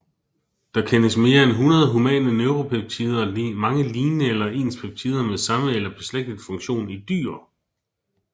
Der kendes mere end 100 humane neuropeptider og mange lignende eller ens peptider med samme eller beslægtet funktion i dyr